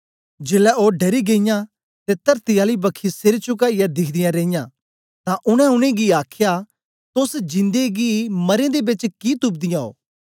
जेलै ओ डरी गेईयां ते तरती आली बखी सेर चुकाईयै दिखदीयां रेईयां तां उनै उनेंगी आखया तोस जिन्दे गी मरें दे बेच कि तुपदी आं ओ